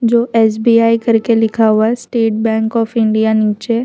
जो एस_बी_आई करके लिखा हुआ है स्टेट बैंक ऑफ़ इंडिया नीचे --